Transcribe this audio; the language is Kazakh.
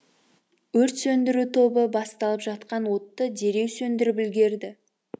өрт сөндіру тобы басталып жатқан отты дереу сөндіріп үлгерді